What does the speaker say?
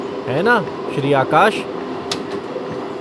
है ना श्री आकाश?